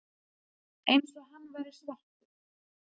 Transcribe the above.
Eins og hann væri svartur.